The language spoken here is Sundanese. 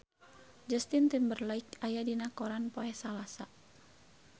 Justin Timberlake aya dina koran poe Salasa